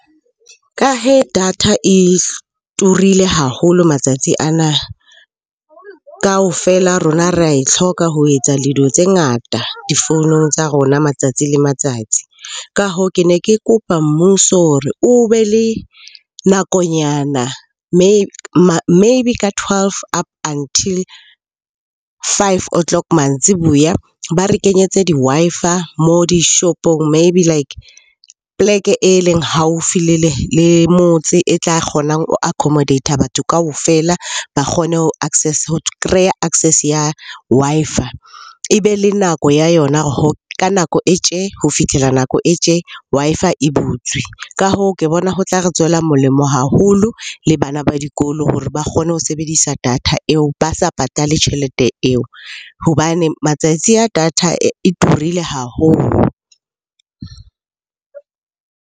Ka data e turile haholo matsatsi ana. Kaofela rona re ae hloka ho etsa dilo tse ngata difounung tsa rona matsatsi le matsatsi. Ka hoo, ke ne ke kopa mmuso hore o be le nakonyana maybe ka twelve up until five o' clock mantsiboya ba re kenyetse di-Wi-Fi moo dishopong. Maybe like, poleke e leng haufi le motse e tla kgonang ho accomodate-a batho kaofela, ba kgone ho kreya access ya Wi-Fi. Ebe le nako ya yona ka nako e tje, ho fitlhela nako e tje Wi-Fi e butswe. Ka hoo, ke bona ho tla re tswela molemo haholo le bana ba dikolo hore ba kgone ho sebedisa data eo ba sa patale tjhelete eo hobane matsatsi a data e turile haholo.